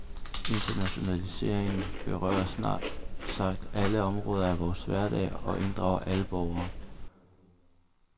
Internationaliseringen berører snart sagt alle områder af vores hverdag, og inddrager alle borgere.